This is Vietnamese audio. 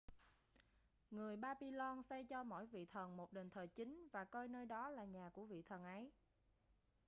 người babylon xây cho mỗi vị thần một đền thờ chính và coi nơi đó là nhà của vị thần ấy